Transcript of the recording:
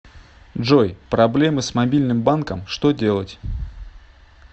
джой проблемы с мобильным банком что делать